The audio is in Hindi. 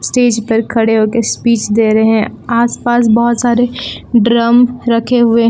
स्टेज पर खड़े होके स्पीच दे रहे हैं आसपास बहोत सारे ड्रम रखे हुए--